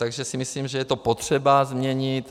Takže si myslím, že je to potřeba změnit.